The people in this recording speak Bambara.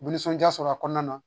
Nisɔndiya sɔrɔ a kɔnɔna na